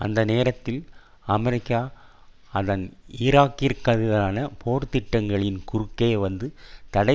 அந்த நேரத்தில் அமெரிக்கா அதன் ஈராக்கிற்கெதிரான போர்த்திட்டங்களில் குறுக்கே வந்து தடை